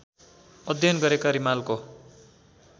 अध्ययन गरेका रिमालको